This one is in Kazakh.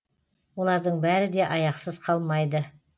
олардың бәрі де аяқсыз қалмайды